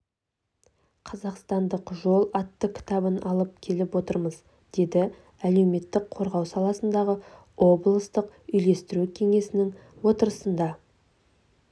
қазақстандық жол атты кітабын алып келіп отырмыз деді әлеуметтік қорғау саласындағы облыстық үйлестіру кеңесінің отырысында